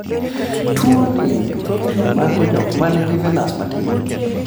tuoni thothne mako jok man gi venas matin